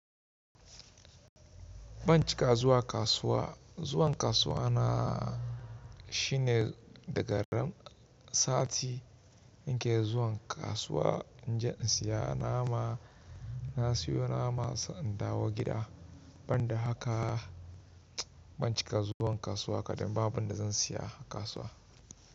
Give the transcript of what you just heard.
Ban cika zuwa kasuwa. Zuwan kasuwa na shine daga ran sati in ke zuwan kasuwa in je in siya nama, na siyo nama sai inndawo gida. Ban da haka ban cika zuwan kasuwa kadan ba, ba abunda zan siya a kasuwa.